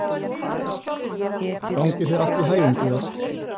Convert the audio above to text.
Gangi þér allt í haginn, Georg.